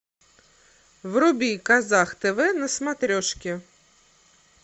вруби казах тв на смотрешке